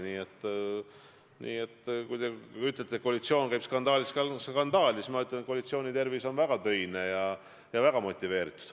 Nii et kui teie ütlete, et koalitsioon sammub skandaalist skandaali, siis mina väidan, et koalitsiooni tervis on korras, koalitsioon on väga töine ja väga motiveeritud.